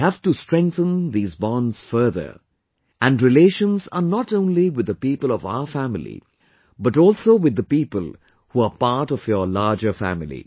We have to strengthen these bonds further, and relations are not only with the people of our family but also with the people who are part of your larger family